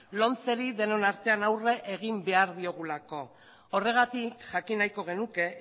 lomce ri denon artean aurre egin behar diogulako horregatik jakin nahiko genuke